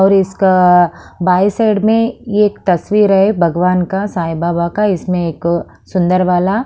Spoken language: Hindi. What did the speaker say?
और इसका बाय साइड में एक तस्वीर है भगवान का साईं बाबा का इसमें एक सुंदर वाला--